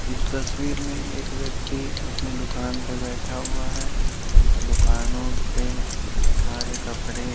इस तस्वीर में एक व्यक्ति अपने दुकान पे बैठा हुआ है दुकानों पे सारे कपड़े--